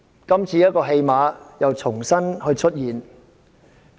今次這種戲碼又再次出現。